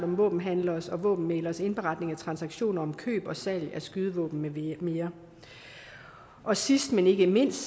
om våbenhandleres og våbenmægleres indberetning af transaktioner om køb og salg af skydevåben med mere og sidst men ikke mindst